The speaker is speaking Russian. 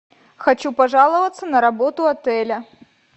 хочу пожаловаться на работу отеля